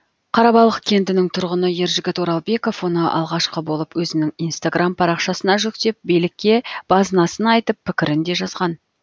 қарабалық кентінің тұрғыны ержігіт оралбеков оны алғашқы болып өзінің инстаграм парақшасына жүктеп билікке базынасын айтып пікірін де жазған